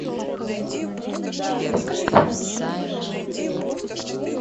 алиса подскажи информацию о заезде в нашем отеле